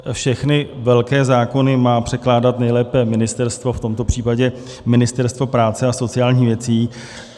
Všechny velké zákony má předkládat nejlépe ministerstvo, v tomto případě Ministerstvo práce a sociálních věcí.